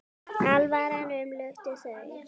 Alvaran umlukti þau.